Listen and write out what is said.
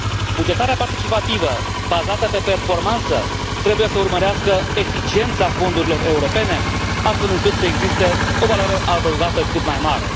Bugetarea participativă, bazată pe performanță, trebuie să urmărească eficiența fondurilor europene, astfel încât să existe o valoare adăugată cât mai mare.